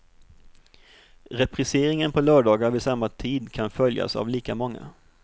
Repriseringen på lördagar vid samma tid kan följas av lika många.